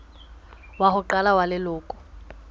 wa ho qala wa leloko